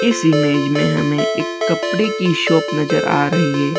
इस इमेज में हमे एक कपड़े की शॉप नजर आ रही है।